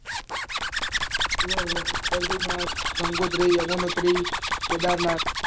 Badrinath Gangotri Yamunotri Kedarnath